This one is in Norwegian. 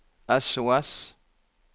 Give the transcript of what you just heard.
sos